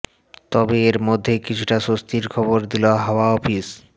তবে এর মধ্যেই কিছুটা স্বস্তির খবর দিল হাওয়া অফিস